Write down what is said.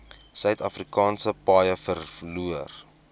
suidafrikaanse paaie verloor